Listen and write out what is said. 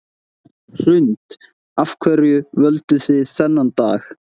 Hrund: Af hverju völduð þið þennan dag?